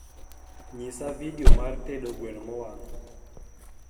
nyisa video mar tedo gweno mowang